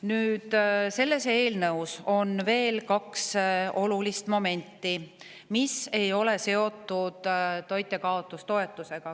Nüüd, selles eelnõus on veel kaks olulist momenti, mis ei ole seotud toitjakaotustoetusega.